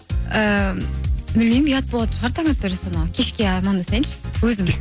і білмеймін ұят болатын шығар таң атпай жасұлан аға кешке амандасайыншы өзім